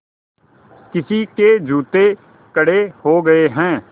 किसी के जूते कड़े हो गए हैं